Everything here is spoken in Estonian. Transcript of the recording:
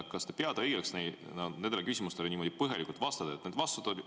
Kas te peate õigeks nendele küsimustele niimoodi põhjalikult vastata?